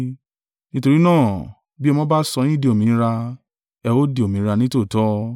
Nítorí náà, bí Ọmọ bá sọ yín di òmìnira ẹ ó di òmìnira nítòótọ́.